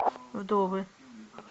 вдовы